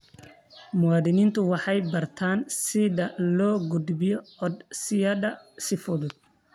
Muwaadiniintu waxay bartaan sida loo gudbiyo codsiyada si fudud.